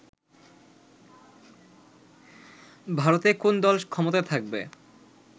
ভারতে কোন দল ক্ষমতায় থাকবে